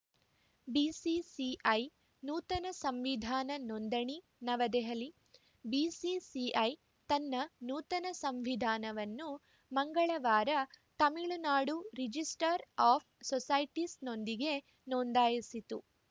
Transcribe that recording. BCCI ನೂತನ ಸಂವಿಧಾನ ನೋಂದಣಿ ನವದೆಹಲಿ ಬಿಸಿಸಿಐ ತನ್ನ ನೂತನ ಸಂವಿಧಾನವನ್ನು ಮಂಗಳವಾರ ತಮಿಳುನಾಡು ರಿಜಿಸ್ಟ್ರಾರ್‌ ಆಫ್‌ ಸೊಸೈಟೀಸ್‌ನೊಂದಿಗೆ ನೋಂದಾಯಿಸಿತು